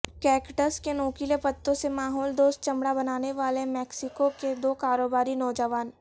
cactus کے نوکیلے پتوں سے ماحول دوست چمڑا بنانے والے میکسیکو کے دو کاروباری نوجوان